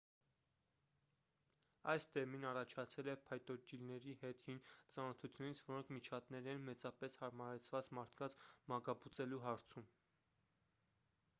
այս տերմինն առաջացել է փայտոջիլների հետ հին ծանոթությունից որոնք միջատներ են մեծապես հարմարեցված մարդկանց մակաբուծելու հարցում